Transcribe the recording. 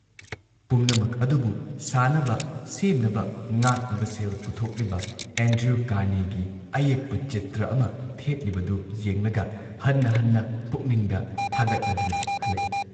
ꯄꯨꯝꯅꯃꯛ ꯑꯗꯨꯕꯨ ꯁꯥꯅꯕ, ꯁꯦꯝꯅꯕ, ꯉꯥꯛꯅꯕ ꯁꯦꯜ ꯄꯨꯊꯣꯛꯂꯤꯕ ꯑꯦꯟꯗ꯭ꯔꯨ ꯀꯥꯔꯅꯦꯒꯤ ꯑꯌꯦꯛꯄ ꯆꯤꯇ꯭ꯔ ꯑꯃ ꯊꯦꯠꯂꯤꯕꯗꯨ ꯌꯦꯡꯂꯒ ꯍꯟꯅ ꯍꯟꯅ ꯄꯨꯛꯅꯤꯡꯗ ꯊꯥꯒꯠꯂꯗꯨꯅ ꯍꯜꯂꯛꯏ ꯫